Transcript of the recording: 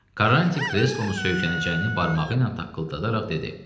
Karrantin kreslona söykənəcəyini barmağı ilə taqqıldadaraq dedi.